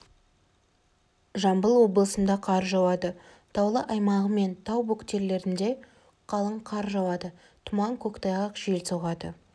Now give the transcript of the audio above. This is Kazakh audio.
жамбыл облысында қар жауады таулы аумағы мен тау бөктерлерінде қалың қар жауады тұман көктайғақ жел соғады